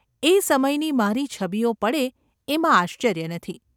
એ સમયની મારી છબીઓ પડે એમાં આશ્ચર્ય નથી.